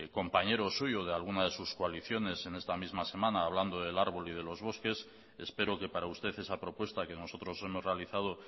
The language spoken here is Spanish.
compañero suyo o de alguna de sus coaliciones en esta misma semana hablando del árbol y de los bosques espero que para usted esa propuesta que nosotros hemos realizado